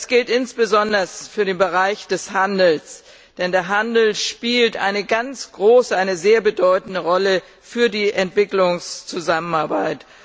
Das gilt insbesondere für den Bereich des Handels, denn der Handel spielt eine sehr bedeutende Rolle für die Entwicklungszusammenarbeit.